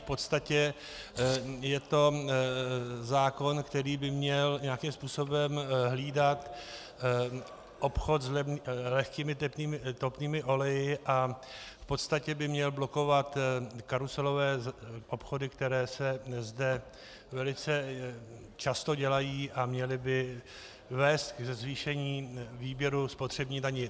V podstatě je to zákon, který by měl nějakým způsobem hlídat obchod s lehkými topnými oleji a v podstatě by měl blokovat karuselové obchody, které se zde velice často dělají, a měl by vést ke zvýšení výběru spotřební daně.